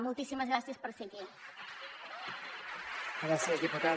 moltíssimes gràcies per ser aquí